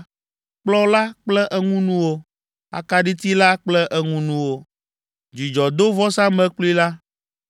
kplɔ̃ la kple eŋunuwo, akaɖiti la kple eŋunuwo, dzudzɔdovɔsamlekpui la,